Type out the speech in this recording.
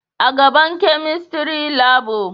A gaban chemistry labu